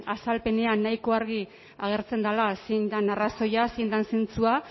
azalpenean nahiko argi agertzen dela zein den arrazoia zein den zentzua